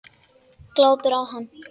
Glápir á hana.